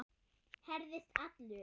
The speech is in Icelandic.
Herðist allur.